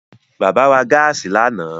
Bàbá ra gáàsì lánàá